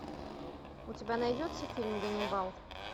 у тебя найдется фильм ганнибал